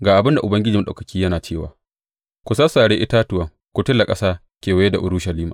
Ga abin da Ubangiji Maɗaukaki yana cewa, Ku sassare itatuwan ku tula ƙasa kewaye da Urushalima.